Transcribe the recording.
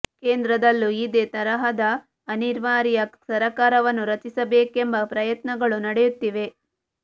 ಕೇಂದ್ರದಲ್ಲೂ ಇದೇ ತರಹದ ಅನಿವಾರ್ಯ ಸರ್ಕಾರವನ್ನು ರಚಿಸಬೇಕೆಂಬ ಪ್ರಯತ್ನಗಳು ನಡೆಯು ತ್ತಿವೆ